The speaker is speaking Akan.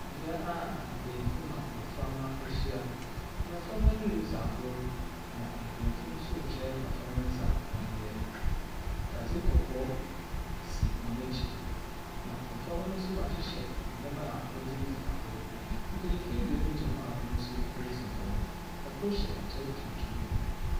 Bea a mpanimfo na mmɔframma ahyia. Mmɔframma no ridzi agor, na mpenyimfo no nso rekyerɛ mmɔframma no dza wɔnyɛ. Adze kɔkɔɔ si hɔn ekyir, na mmɔframma no nso wɔahyehyɛ nneɛma a wɔdze tidzi agor. Mpenyimfo ebien gyina hɔ hɔn nso wɔridzi nkɔmmɔ. Kor hyɛ atar tuntum.